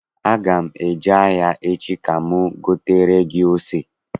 Aga m eje ahịa echi ka m gotere gị ose.